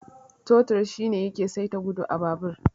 Totir shine yake saita gudu a babur.